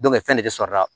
fɛn de bɛ sɔrɔ a la